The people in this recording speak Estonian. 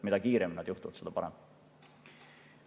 Mida kiiremini need, seda parem.